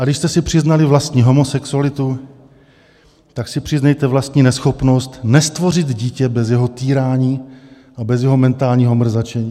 A když jste si přiznali vlastní homosexualitu, tak si přiznejte vlastní neschopnost nestvořit (?) dítě bez jeho týrání a bez jeho mentálního mrzačení.